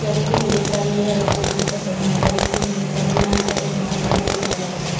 जैसा की मैं देख पा रही हूँ यह एक सुबह का समय है जैसा की मैं देख पा रही हूँ यहां पर एक बहुत बड़ा सा घर है ।